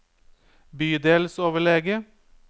bydelsoverlege